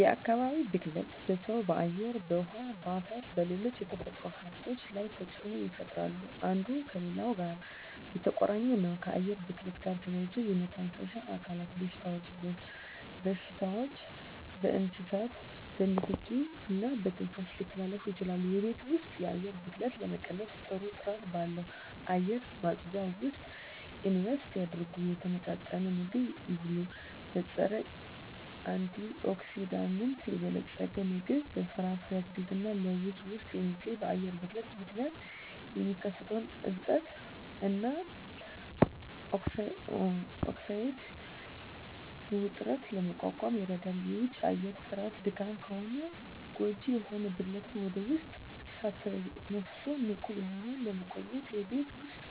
የአካባቢ ብክለት በሰው በአየር በውሀ በአፈርና በሌሎች የተፈጥሮ ሀብቶች ላይ ተፅኖ ይፈጥራሉ አንዱ ከሌላው ጋር የተቆራኘ ነው ከአየር ብክለት ጋር ተያይዞ የመተንፈሻ አካል በሽታዎች በስዎችና በእንስሳት በንኪኪ እና በትንፋሽ ሊተላለፉ ይችላሉ የቤት ውስጥ የአየር ብክለትን ለመቀነስ ጥሩ ጥራት ባለው አየር ማጽጃ ውስጥ ኢንቨስት ያድርጉ። የተመጣጠነ ምግብ ይብሉ; በፀረ-አንቲኦክሲዳንት የበለፀገ ምግብ (በፍራፍሬ፣ አትክልት እና ለውዝ ውስጥ የሚገኝ) በአየር ብክለት ምክንያት የሚከሰተውን እብጠት እና ኦክሳይድ ውጥረትን ለመቋቋም ይረዳል። የውጪ አየር ጥራት ደካማ ከሆነ ጎጂ የሆኑ ብክለትን ወደ ውስጥ ሳትተነፍሱ ንቁ ሆነው ለመቆየት የቤት ውስጥ